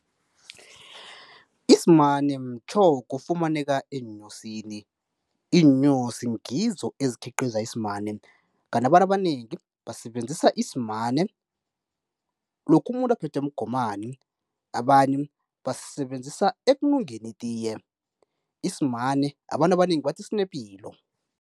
Isimane mtjhoga ofumaneka eenyosini, iinyosi ngizo ezikhiqiza isimane. Kanti abantu abanengi basebenzisa isimane lokha umuntu aphethwe mgomani abanye basisebenzisa ekunungeni itiye, isimane abantu abanengi bathi sinepilo.